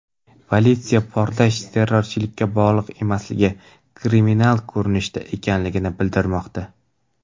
Politsiya portlash terrorchilikka bog‘liq emasligi, kriminal ko‘rinishda ekanligini bildirmoqda.